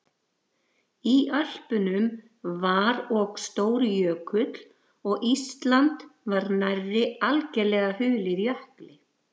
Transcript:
Í Ölpunum var og stór jökull og Ísland var nær algerlega hulið jökli.